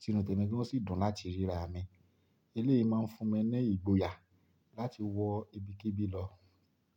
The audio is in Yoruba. Ti inu tèmi gan o sì dùn láti ríra mi. Eléyìí máa ń fún mi ní ìgboyà láti wọ ibikíbi lọ.